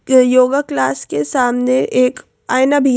yoga class के सामने एक आईना भी--